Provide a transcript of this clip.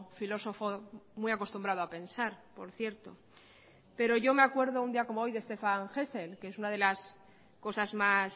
filósofo muy acostumbrado a pensar por cierto pero yo me acuerdo un día como hoy de stéphan hessel que es una de las cosas más